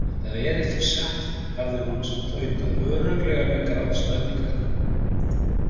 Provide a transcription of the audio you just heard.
Það er ekki satt, hafði hún tautað, örugglega með grátstafinn í kverkunum.